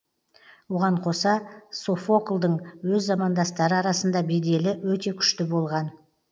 оған қоса софоклдың өз замандастары арасында беделі өте күшті болған